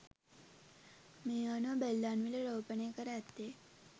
මේ අනුව බෙල්ලන්විල රෝපණය කර ඇත්තේ